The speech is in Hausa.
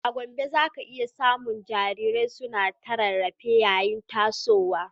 A Gombe, za ka iya samun jarirai suna ta rarrafe yayin tasowa